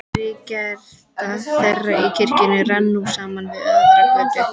Reiðgata þeirra í kjarrinu rann nú saman við aðra götu.